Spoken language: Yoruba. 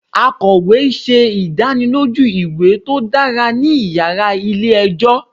Akọwe ṣe idaniloju iwa to dara ni yara ile-ẹjọ